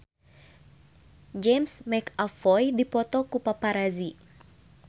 James McAvoy dipoto ku paparazi